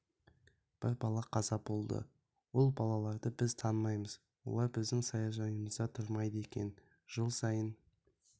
бір бала қаза болды ол балаларды біз танымаймыз олар біздің саяжайымызда тұрмайды екен жыл сайын